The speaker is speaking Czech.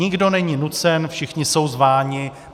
Nikdo není nucen, všichni jsou zváni.